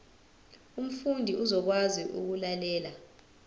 umfundi uzokwazi ukulalela